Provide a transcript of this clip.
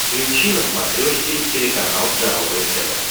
включи на смотрешке телеканал здоровое тв